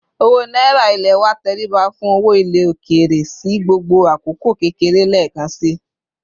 Owo náírà ilé wa tẹríba fún owó ilé òkèèrè sì gbogbo àkókò kékeré lekansi